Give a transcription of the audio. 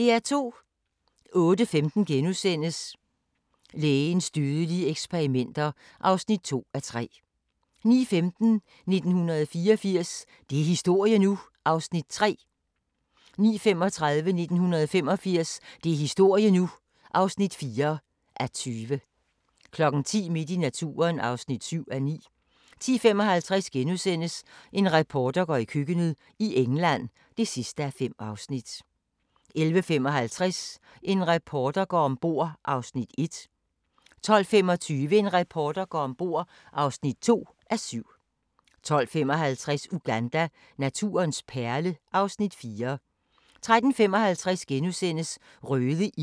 08:15: Lægens dødelige eksperimenter (2:3)* 09:15: 1984 – det er historie nu! (3:20) 09:35: 1985 – det er historie nu! (4:20) 10:00: Midt i naturen (7:9) 10:55: En reporter går i køkkenet – i England (5:5)* 11:55: En reporter går om bord (1:7) 12:25: En reporter går om bord (2:7) 12:55: Uganda – naturens perle (Afs. 4) 13:55: Røde ildmyrer – en usynlig hær * 14:40: Familien fra Lærkevej (1:6)*